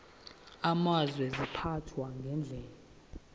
amazwe ziphathwa ngendlela